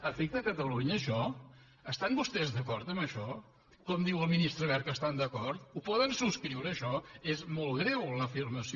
afecta catalunya això estan vostès d’acord amb això com diu el ministre wert que hi estan d’acord ho poden subscriure això és molt greu l’afirmació